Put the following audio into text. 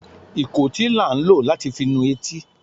ikòtí la n lò latí fi nú etí